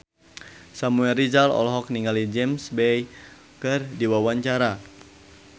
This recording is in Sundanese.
Samuel Rizal olohok ningali James Bay keur diwawancara